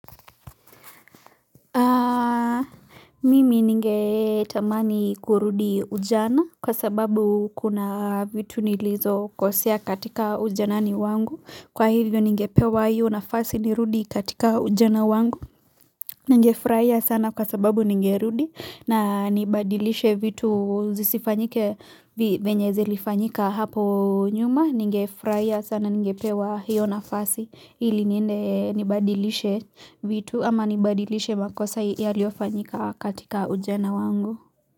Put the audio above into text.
Mimi ninge tamani kurudi ujana, kwa sababu kuna vitu nilizokosea katika ujanani wangu Kwa hivyo ningepewa hiyo nafasi nirudi katika ujana wangu Ninge furahia sana kwa sababu ninge rudi na nibadilishe vitu zisifanyike venye zilifanyika hapo nyuma Ninge furahia sana ningepewa hiyo nafasi ili niende nibadilishe vitu ama nibadilishe makosa yaliyofanyika katika ujana wangu.